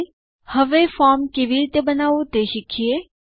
હવે ચાલો ફોર્મ કેવી રીતે બનાવવું તે શીખીએ